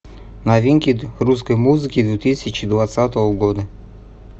новинки русской музыки две тысячи двадцатого года